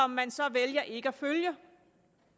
man så vælger ikke at følge